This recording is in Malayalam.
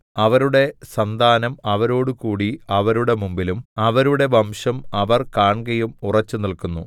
അവരുടെ സന്താനം അവരോടുകൂടി അവരുടെ മുമ്പിലും അവരുടെ വംശം അവർ കാൺകെയും ഉറച്ച് നില്ക്കുന്നു